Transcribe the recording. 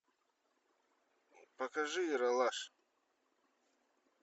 покажи ералаш